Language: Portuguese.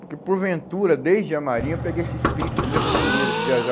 Porque, porventura, desde a marinha, eu peguei esse espírito de aventureiro, de viajar.